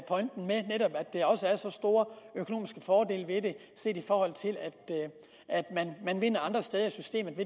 der også er så store økonomiske fordele ved det set i forhold til at man andre steder i systemet